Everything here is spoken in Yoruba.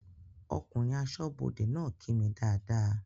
Ọkùnrin aṣọ́bọdè náà kí mi dáadáa